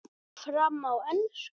Fer fram á ensku.